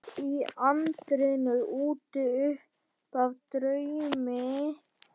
Í anddyrinu úti uppaf draumi ég hrekk.